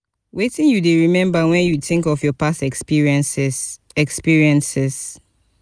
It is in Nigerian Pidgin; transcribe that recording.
wetin you dey remember when you think of your past experiences? experiences?